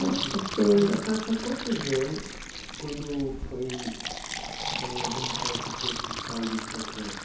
Né, porque... Mas a senhora tinha quantos anos quando foi foi administrar esse posto de saúde para crianças?